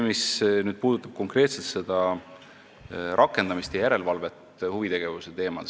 Nüüd konkreetselt rakendamisest ja järelevalvest huvitegevuse teemal.